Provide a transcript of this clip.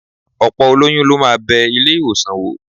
Ọ̀pọ̀ olóyún ló máa bẹ ilé-ìwọ̀sàn wò